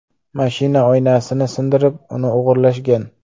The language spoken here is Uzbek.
Mashina oynasini sindirib, uni o‘g‘irlashgan.